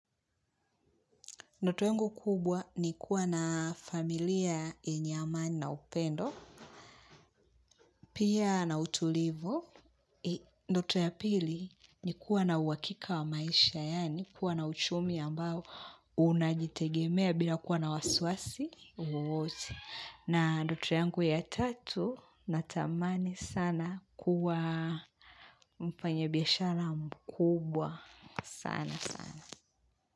Ndoto yangu kubwa ni kuwa na familia yenye amani na upendo. Pia na utulivu. Ndoto ya pili ni kuwa na uhakika wa maisha. Yaani kuwa na uchumi ambao unajitegemea bila kuwa na wasiwasi. Na ndoto yangu ya tatu natamani sana kuwa mfanyabiashara mkubwa sana sana.